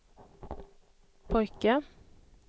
pojke